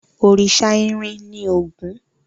Òrìṣà irin ni Ògún.